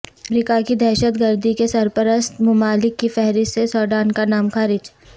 امریکہ کی دہشت گردی کے سرپرست ممالک کی فہرست سے سوڈان کا نام خارج